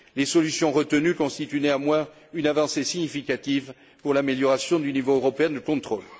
Les solutions retenues constituent néanmoins une avancée significative pour l'amélioration du niveau européen de contrôle.